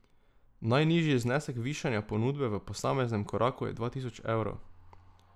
Najnižji znesek višanja ponudbe v posameznem koraku je dva tisoč evrov.